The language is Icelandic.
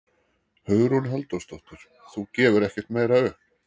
Hugrún Halldórsdóttir: Þú gefur ekkert meira upp?